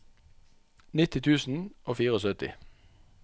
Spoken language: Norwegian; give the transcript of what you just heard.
nitti tusen og syttifire